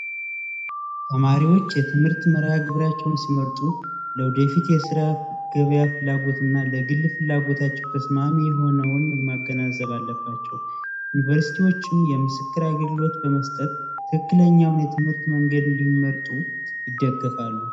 ተማሪዎች የትምህርት መግቢያቸውን ሲመርጡት የስራ ገበያ ፍላጎትና ለግል ፍላጎታቸው ተስማሚ የሆነውን ማገናዘባለባቸው ዩኒቨርሲቲዎችም የምስክር አገልግሎት በመ ትክክለኛው የትምህርት መንገድ እንዲመርጡ ይደገፋሉ